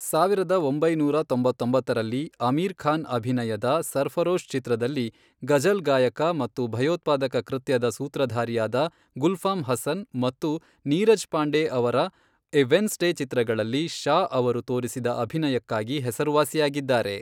ಸಾವಿರದ ಒಂಬೈನೂರ ತೊಂಬತ್ತೊಂಬತ್ತರಲ್ಲಿ, ಅಮೀರ್ ಖಾನ್ ಅಭಿನಯದ ಸರ್ಫರೋಶ್ ಚಿತ್ರದಲ್ಲಿ ಗಝಲ್ ಗಾಯಕ ಮತ್ತು ಭಯೋತ್ಪಾದಕ ಕೃತ್ಯದ ಸೂತ್ರಧಾರಿಯಾದ ಗುಲ್ಫಾಮ್ ಹಸನ್ ಮತ್ತು ನೀರಜ್ ಪಾಂಡೆ ಅವರ ಎ ವೆನ್ಸಡೇ ಚಿತ್ರಗಳಲ್ಲಿ, ಷಾ ಅವರು ತೋರಿಸಿದ ಅಭಿನಯಕ್ಕಾಗಿ ಹೆಸರುವಾಸಿಯಾಗಿದ್ದಾರೆ.